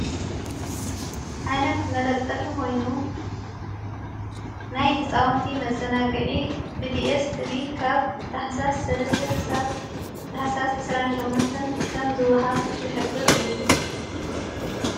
ዓይነት መለጠፊ ሆይኑ ናይ ሕፃውንቲ መዘናግዒ ብዲኤስ ቲቢ ካብ ጥሕሳስ ሠለስተ ኽሳብ ትሕሳስ ዕራሸምንትን ከም ዝወሃብ ዘኅብር እዩ።